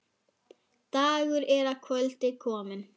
Dagur er að kvöldi kominn.